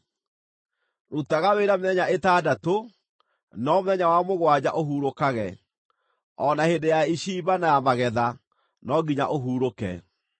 “Rutaga wĩra mĩthenya ĩtandatũ, no mũthenya wa mũgwanja ũhurũkage; o na hĩndĩ ya icimba na ya magetha no nginya ũhurũke.